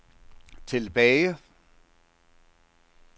tilbage